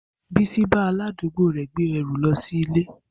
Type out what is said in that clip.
Bisi bá aládùúgbò rè gbé ẹrù lọ sí ilé.